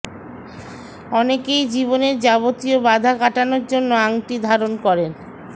অনেকেই জীবনের যাবতীয় বাধা কাটানোর জন্য আংটি ধারন করেন